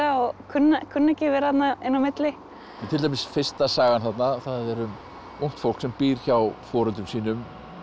og kunna ekki að vera þarna inn á milli til dæmis fyrsta sagan er um ungt fólk sem býr hjá foreldrum sínum